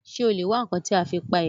Ṣé o lè wá ǹkan tí a fi pa èèrà?